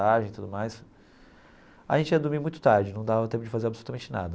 e tudo mais a gente ia dormir muito tarde, não dava tempo de fazer absolutamente nada.